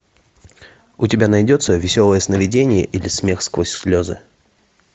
у тебя найдется веселое сновидение или смех сквозь слезы